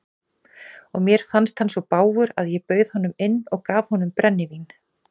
Og mér fannst hann svo bágur að ég bauð honum inn og gaf honum brennivín.